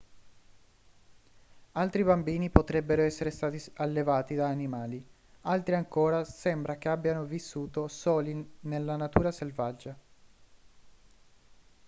altri bambini potrebbero essere stati allevati da animali altri ancora sembra che abbiano vissuto soli nella natura selvaggia